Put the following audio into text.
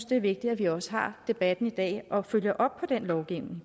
det er vigtigt at vi også har debatten i dag og følger op på den lovgivning